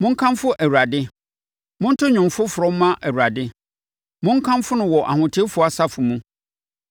Monkamfo Awurade. Monto dwom foforɔ mma Awurade, monkamfo no wɔ ahotefoɔ asafo mu.